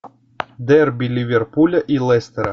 дерби ливерпуля и лестера